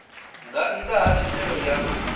nga nnda ha thendelo ya